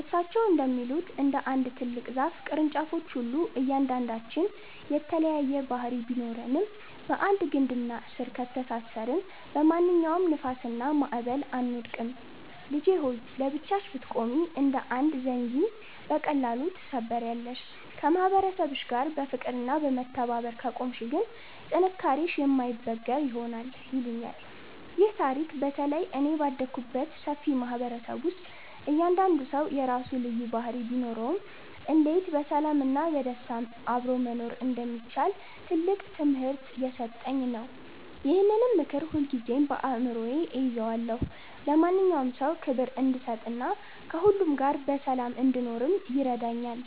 እሳቸው እንደሚሉት፣ እንደ አንድ ትልቅ ዛፍ ቅርንጫፎች ሁሉ እያንዳንዳችን የተለያየ ባህሪ ቢኖረንም፣ በአንድ ግንድና ስር ከተሳሰርን በማንኛውም ንፋስና ማዕበል አንወድቅም። "ልጄ ሆይ! ለብቻሽ ብትቆሚ እንደ አንድ ዘንጊ በቀላሉ ትሰበሪያለሽ፤ ከማህበረሰብሽ ጋር በፍቅርና በመከባበር ከቆምሽ ግን ጥንካሬሽ የማይበገር ይሆናል" ይሉኛል። ይህ ታሪክ በተለይ እኔ ባደግኩበት ሰፊ ማህበረሰብ ውስጥ እያንዳንዱ ሰው የራሱ ልዩ ባህሪ ቢኖረውም፣ እንዴት በሰላምና በደስታ አብሮ መኖር እንደሚቻል ትልቅ ትምህርት የሰጠኝ ነው። ይህንን ምክር ሁልጊዜም በአእምሮዬ እይዘዋለሁ፤ ለማንኛውም ሰው ክብር እንድሰጥና ከሁሉ ጋር በሰላም እንድኖርም ይረዳኛል።